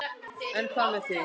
En hvað með þig.